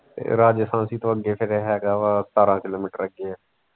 ਰਾਜਸਥਾਨ ਤੋਂ ਅੱਗੇ ਫਿਰ ਹੈ ਗਾ ਵਾ ਸਤਾਰਾ ਕਿਲੋਮੀਟਰ ਅੱਗੇ ਹੈ।